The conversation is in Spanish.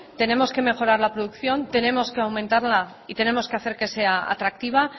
tenemos que mejorar la producción tenemos que aumentarla y tenemos que hacer que sea atractiva